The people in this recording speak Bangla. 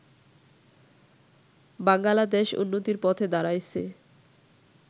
বাঙ্গালা দেশ উন্নতির পথে দাঁড়াইয়াছে